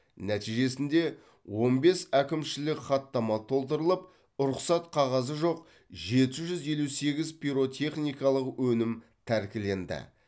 нәтижесінде он бес әкімшілік хаттама толтырылып рұқсат қағазы жоқ жеті жүз елу сегіз пиротехникалық өнім тәркіленді